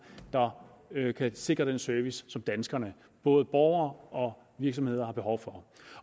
der kan sikre den service som danskerne både borgere og virksomheder har behov for